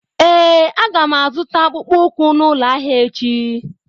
Ee a ga m azụta akpụkpọ ụkwụ n'ụlọ ahịa echi.